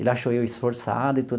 Ele achou eu esforçado e tudo.